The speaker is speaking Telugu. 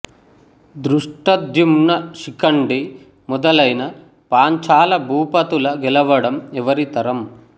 దృష్టద్యుమ్న శిఖండి మొదలైన పాంచాల భూపతుల గెవడం ఎవరి తరం